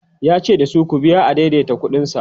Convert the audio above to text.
yace dasu "ku biya adaidaita ƙuɗin sa"